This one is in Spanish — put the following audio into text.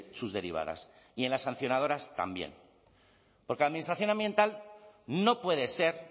sus derivadas y en las sancionadoras también porque la administración ambiental no puede ser